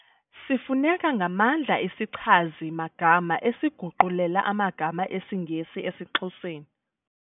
Sifuneka ngamandla isichazi-magama esiguqulela amagama esiNgesi esiXhoseni